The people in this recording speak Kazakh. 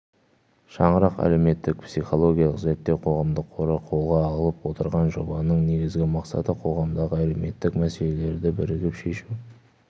шаңырақ әлеуметтік-психологиялық зерттеу қоғамдық қоры қолға алып отырған жобаның негізгі мақсаты қоғамдағы әлеуметтік мәселелерді бірігіп шешу